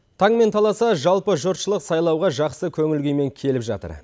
таңмен таласа жалпы жұртшылық сайлауға жақсы көңіл күймен келіп жатыр